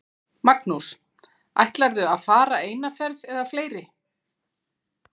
Magnús: Ætlarðu að fara eina ferð eða fleiri?